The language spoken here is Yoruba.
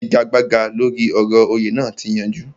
Ìfigagbága lóri ọ̀rọ̀ òyè naa ti yanjú